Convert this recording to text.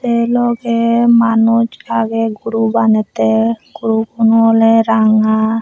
se loge manus agey guru banette gurugun awle ranga.